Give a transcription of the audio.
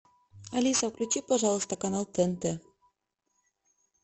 алиса включи пожалуйста канал тнт